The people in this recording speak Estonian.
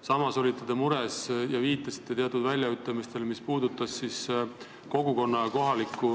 Samas viitasite murelikult teatud väljaütlemistele, kus on kurdetud kogukonna ja üldse kohaliku